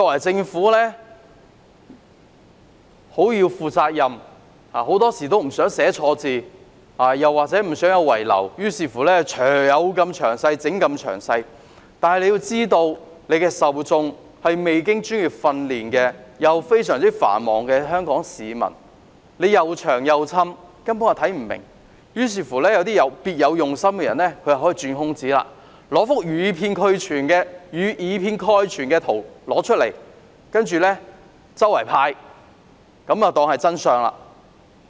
政府當然要負責任，很多時不想寫錯字或有所遺漏，於是宣傳品能有多詳細便多詳細，但要知道受眾是未經專業訓練且非常繁忙的香港市民，宣傳品過於冗贅，市民根本看不明，讓別有用心的人有機會鑽空子，拿一幅以偏概全的圖出來，當作真相四處派發。